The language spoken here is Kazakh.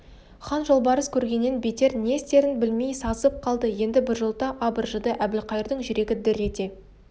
хан жолбарыс көргеннен бетер не істерін білмей сасып қалды енді біржолата абыржыды әбілқайырдың жүрегі дір ете